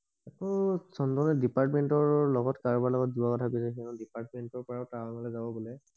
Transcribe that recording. অহ চন্দনে ডিপাৰ্টমেন্তৰ কাৰোবাৰ লগত কাৰোবাৰ লগত যোৱা কথা কৈ আছে ডিপাৰ্টমেন্তৰ পৰা টাৱাংলে যাব বোলে